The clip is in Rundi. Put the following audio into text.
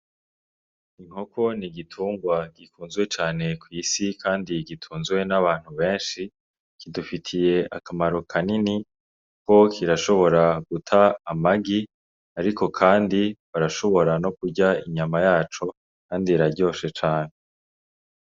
Inkoko ni igitungwa gikunzwe cane kw'isi kandi gitunzwe n'abantu benshi, kidufitiye akamaro kanini kuko kirashobora guta amagi ariko kandi barashobora no kurya inyama yaco kandi iraryoshe cane.